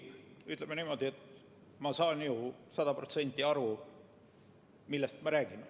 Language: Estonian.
Ütleme niimoodi, et ma saan ju sada protsenti aru, millest me räägime.